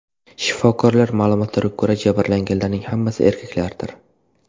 Shifokorlar ma’lumotlariga ko‘ra, jabrlanganlarning hammasi erkaklardir.